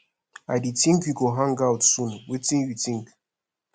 i dey think say we should hang out soon wetin you think